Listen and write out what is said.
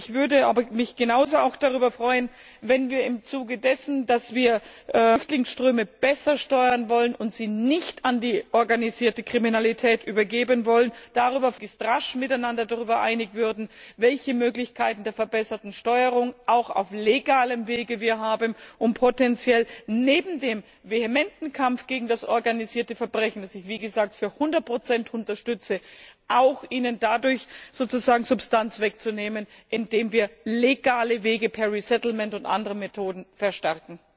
Ich würde mich aber auch genauso darüber freuen, wenn wir uns im Zuge dessen, dass wir Flüchtlingsströme besser steuern wollen und sie nicht an die organisierte Kriminalität übergeben wollen, möglichst rasch miteinander darüber einig würden, welche Möglichkeiten der verbesserten Steuerung auch auf legalem Wege wir haben, um potenziell neben dem vehementen Kampf gegen das organisierte Verbrechen, den ich, wie gesagt, zu 100 unterstütze, ihm auch dadurch sozusagen Substanz wegzunehmen, indem wir legale Wege per resettlement und durch andere Methoden verstärken.